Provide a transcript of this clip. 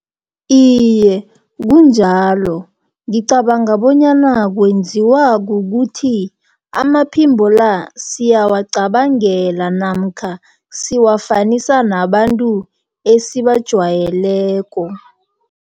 Iye, kunjalo ngicabanga bonyana kwenziwa kukuthi amaphimbo la, siyawacabangela, namkha siwafanisa nabantu esibajwayeleko.